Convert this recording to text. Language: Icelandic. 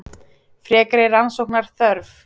Frekari rannsóknar þörf